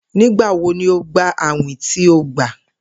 Nigbawo ni o gba awin ti o gba?